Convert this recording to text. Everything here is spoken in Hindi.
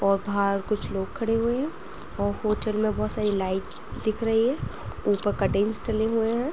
और बहार कुछ लोग खड़े हुए हैं औ होटल में बोहोत सारी लाइट दिख रही है। ऊपर कटेन्स डले हुए हैं।